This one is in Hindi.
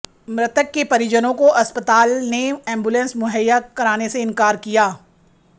मृतक के परिजनों को अस्पताल ने एंबुलेंस मुहैया कराने से इनकार किया